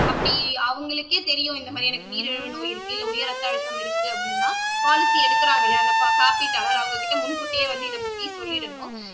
அப்படி அவங்களுக்கே தெரியும் இந்த மாதிரி எனக்கு நீரிழிவு நோய் இருக்கு இல்ல உயர் ரத்த அழுத்தம் இருக்கு அப்படின்னா பாலிசி எடுக்குறாங்க இல்லையா அந்த காப்பீட்டாளர் அவங்க கிட்ட முன் கூட்டியே வந்து இத பத்தி சொல்லிடணும்